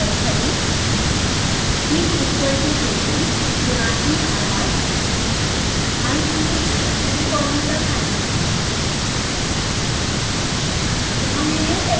अगली लाइन में तय करें heat equal to 18 गुणा err अंत में एक सेमीकोलन लगाएँ